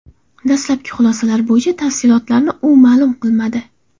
Dastlabki xulosalar bo‘yicha tafsilotlarni u ma’lum qilmadi.